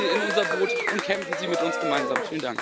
Kommen Sie in unser Boot und kämpfen Sie mit uns gemeinsam!